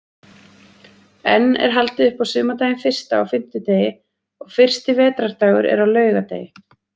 Enn er haldið upp á sumardaginn fyrsta á fimmtudegi og fyrsti vetrardagur er á laugardegi.